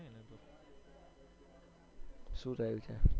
શૂ થયું છે?